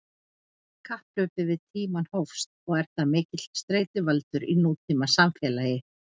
Kapphlaupið við tímann hófst og er það mikill streituvaldur í nútímasamfélagi.